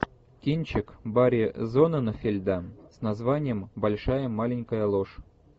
кинчик барри зонненфельда с названием большая маленькая ложь